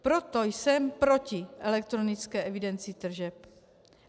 Proto jsem proti elektronické evidenci tržeb.